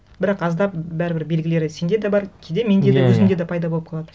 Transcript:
бірақ аздап бәрібір белгілері сенде де бар кейде менде де иә иә өзімде де пайда болып қалады